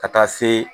Ka taa se